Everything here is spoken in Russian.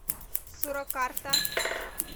суракарта